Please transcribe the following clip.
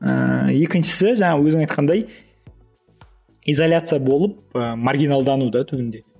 ыыы екіншісі жаңағы өзің айтқандай изоляция болып ы маргиналдану да түбінде